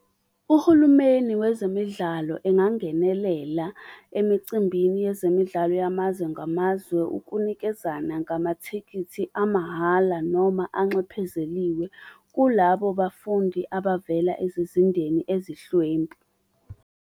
Uhulumeni wezemidlalo engangenelela emicimbini yezemidlalo yamazwe ngamazwe ukunikezana ngamathikithi amahhala, noma anxephezeliwe kulabo bafundi abavela ezizindeni ezihlwempu.